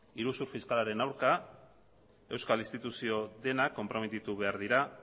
iruzur fiskalaren aurka euskal instituzio denak konprometitu behar dira